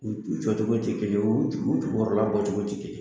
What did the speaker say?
U jɔcogo tɛ kelen ye u jukɔrɔla bɔcogo tɛ kelen ye